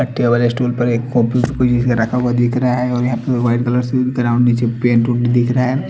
Table stool पे रख रखा हुआ दिख रहा है और यहाँ पे वाइट कलर से ग्राउंड निचे पेंट हु दिख रहा है।